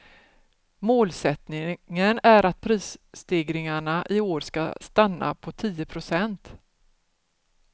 Målsättningen är att prisstegringarna i år ska stanna på tio procent.